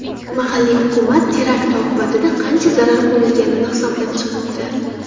Mahalliy hukumat terakt oqibatida qancha zarar ko‘rilganini hisoblab chiqmoqda.